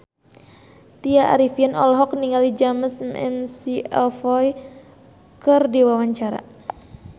Tya Arifin olohok ningali James McAvoy keur diwawancara